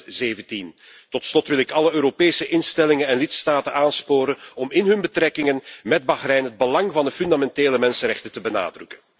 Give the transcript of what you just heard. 2017. Tot slot wil ik alle Europese instellingen en lidstaten aansporen om in hun betrekkingen met Bahrein het belang van de fundamentele mensenrechten te benadrukken.